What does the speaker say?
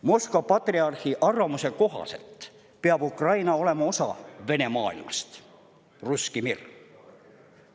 Moskva patriarhi arvamuse kohaselt peab Ukraina olema osa Vene maailmast, russki mir'ist.